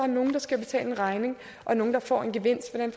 nogle der skal betale en regning og nogle der får en gevinst